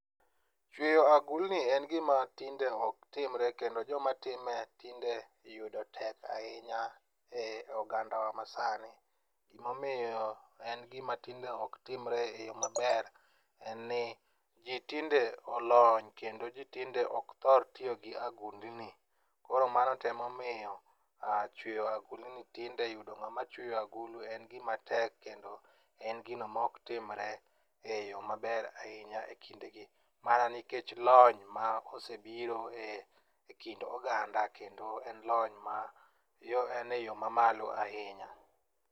Chweyo agulni en gima tinde oktimre kendo jomatime tinde yudo tek ahinya e ogandawa masani. Gimomiyo en gima tinde ok timre e yo maber en ni ji tinde olony kendo ji tinde ok thor tiyo gi agulni koro mano to emomiyo chweyo agulni tinde yudo ng'ama chweyo agulu en gima tek kendo en gino moktimre e yo maber ahinya e kindegi mana nikech lony ma osebiro e kind oganda kendo en e yo mamalo ahinya.